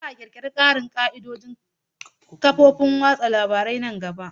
Za a ƙirƙiri ƙarin ƙa'idodin ƙafofin watsa labaru a nan gaba.